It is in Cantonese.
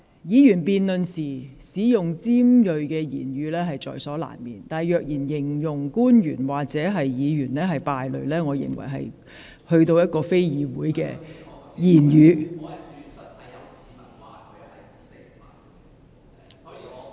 議員辯論時難免言詞尖銳，但若以"敗類"來形容官員或議員，我認為實非議會中應使用的言詞。